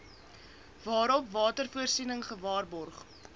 waarop watervoorsiening gewaarborg